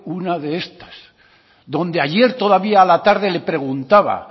una de estas donde ayer todavía a la tarde le preguntaba